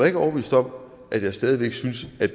ikke overbevist om at jeg stadig væk synes at